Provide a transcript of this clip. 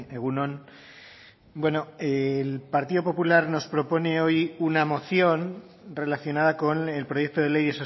egun on bueno el partido popular nos propone hoy una moción relacionada con el proyecto de ley